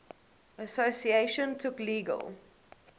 association took legal